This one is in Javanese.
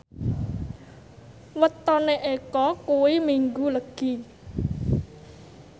wetone Eko kuwi Minggu Legi